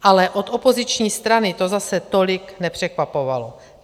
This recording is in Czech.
Ale od opoziční strany to zase tolik nepřekvapovalo.